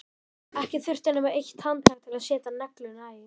Ekki þurfti nema eitt handtak til að setja negluna í.